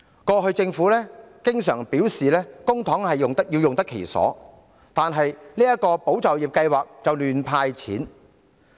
過去政府經常表示公帑要用得其所，但這項"保就業"計劃卻胡亂"派錢"。